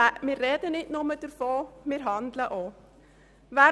Wir sprechen nicht nur davon, wir handeln auch so.